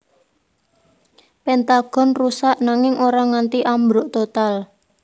Pentagon rusak nanging ora nganti ambruk total